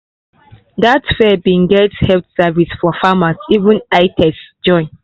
that fair been get health service for farmers even eye test join